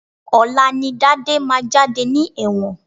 Ọ̀la ni Dádé máa jáde ní ẹ̀wọ̀n